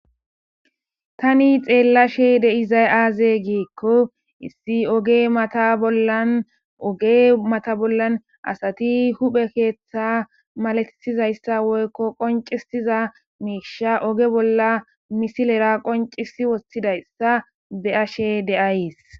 Tano xeelashe de'izay aaze giikon issi oge mata bollan asati huphe keetha malatizaysa woyko qoncisizaiisha nayyi oge bolla misilera qoncisi wothidaysa beyashe de'ays.